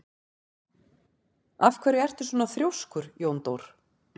Af hverju ertu svona þrjóskur, Jóndór?